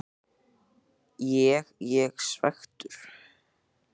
Ég ég svekktur?